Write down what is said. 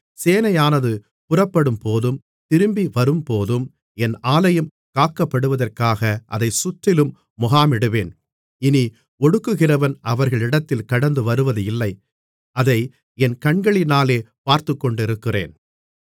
சேனையானது புறப்படும்போதும் திரும்பி வரும்போதும் என் ஆலயம் காக்கப்படுவதற்காக அதைச் சுற்றிலும் முகாமிடுவேன் இனி ஒடுக்குகிறவன் அவர்களிடத்தில் கடந்துவருவதில்லை அதை என் கண்களினாலே பார்த்துக்கொண்டிருக்கிறேன்